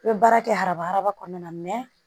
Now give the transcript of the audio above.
I bɛ baara kɛ araba araba kɔnɔna na